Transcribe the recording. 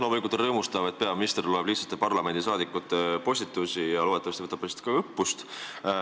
Loomulikult on rõõmustav, et peaminister loeb lihtsate parlamendiliikmete postitusi ja loodetavasti võtab neist ka õppust.